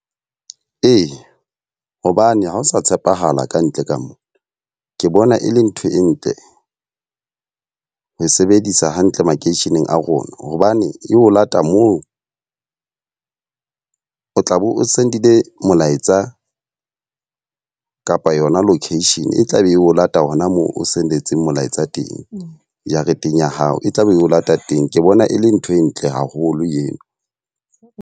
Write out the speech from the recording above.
Ee, hobane ha o sa tshepahala kantle ka mona. Ke bona e le ntho e ntle ho e sebedisa hantle makeisheneng a rona. Hobane e o lata moo o tla be o send-ile molaetsa kapa yona location e tla be e o lata hona moo o sendetseng molaetsa teng, jareteng ya hao. E tlabe e o lata teng. Ke bona e le ntho e ntle haholo eo.